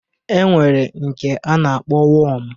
E nwere nke a na-akpọ wọm